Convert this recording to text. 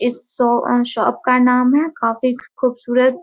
इस show shop का नाम हैं कॉफी खुबसूरत --